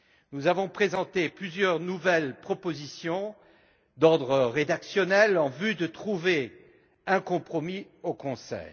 Nous avons présenté plusieurs nouvelles propositions d'ordre rédactionnel en vue de trouver un compromis au sein du Conseil.